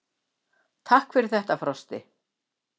Svavar: Takk fyrir þetta Frosti.